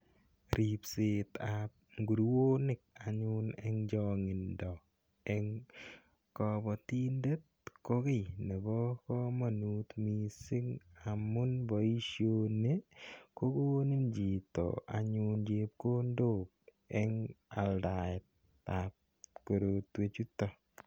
Ripsetap nguruonik anyun eng' chang'indo eng' kapatindet ko ki nepo kamanut missing' amun poishoni ko konin chito anyun chepkondok eng' aldaetap korotwechutok.